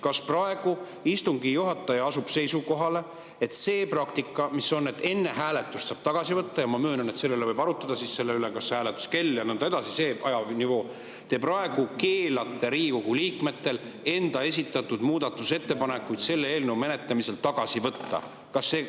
Kas praegu asub istungi juhataja seisukohale, et praktikale, mis on olnud, et enne hääletust saab tagasi võtta – ma möönan, et selle üle võib arutleda, hääletuskella, ajanivoo ja nii edasi üle –, te praegu keelate Riigikogu liikmetel enda esitatud muudatusettepanekuid selle eelnõu menetlemisel tagasi võtta?